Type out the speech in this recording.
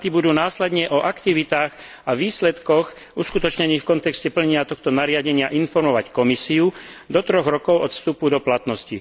Štáty budú následne o aktivitách a výsledkoch uskutočnených v kontexte plnenia tohto nariadenia informovať Komisiu do troch rokov od vstupu do platnosti.